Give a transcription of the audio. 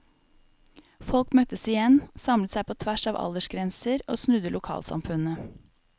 Folk møttes igjen, samlet seg på tvers av aldersgrenser og snudde lokalsamfunnet.